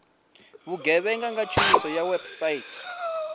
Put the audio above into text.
vhugevhenga nga tshumiso ya website